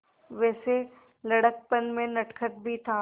वैसे लड़कपन में नटखट भी था